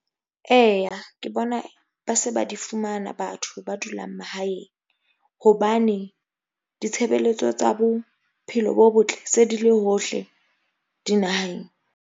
Eya ke bona, ba se ba di fumana. Batho ba dulang mahaeng hobane, ditshebeletso tsa bophelo bo botle se di le hohle dinaheng.